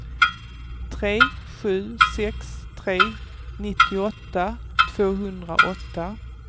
tre sju sex tre nittioåtta tvåhundraåtta